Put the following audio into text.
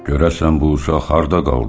Görəsən bu uşaq harda qaldı?